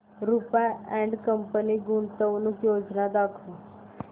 Rupa and company गुंतवणूक योजना दाखव